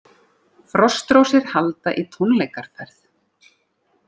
Frostrósir halda í tónleikaferð